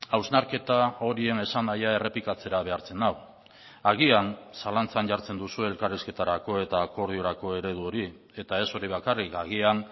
hausnarketa horien esanahia errepikatzera behartzen nau agian zalantzan jartzen duzue elkarrizketarako eta akordiorako eredu hori eta ez hori bakarrik agian